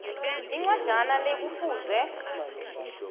incwajana le kufuze